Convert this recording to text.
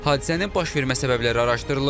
Hadisənin baş vermə səbəbləri araşdırılır.